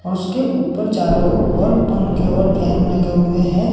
और उसके ऊपर चारों ओर पंखे और फैन लगे हुए हैं।